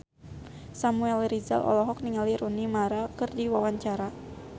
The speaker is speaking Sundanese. Samuel Rizal olohok ningali Rooney Mara keur diwawancara